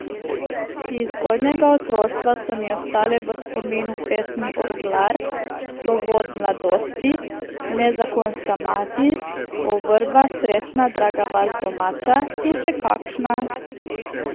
Iz zgodnjega otroštva so mi ostale v spominu pesmi Orglar, Slovo od mladosti, Nezakonska mati, O Vrba, srečna, draga vas domača in še kakšna.